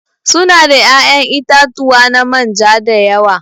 Su na da ya'yan itatuwa na manja da yawa.